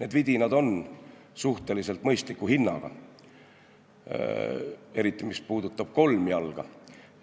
Need vidinad on suhteliselt mõistliku hinnaga, eriti mis puudutab kolmjalga